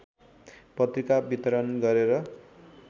पत्रिका वितरण गरेर